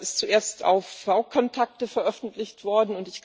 Er ist zuerst auf VKontakte veröffentlicht worden.